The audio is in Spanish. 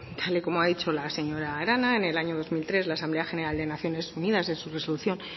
tal y como ha dicho la señora arana en el año dos mil tres la asamblea general de naciones unidas en su resolución